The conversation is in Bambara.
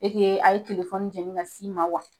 E a ye telefɔni jɛngɛn ka si ma wa?